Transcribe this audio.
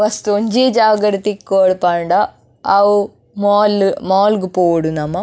ವಸ್ತ್ ಒಂಜೀ ಜಾಗಡ್ ತಿಕ್ಕೊಡ್ ಪಂಡ ಅವು ಮಾಲ್ ಮಾಲ್ ಗು ಪೋವೊಡು ನಮ.